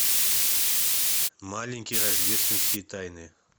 маленькие рождественские тайны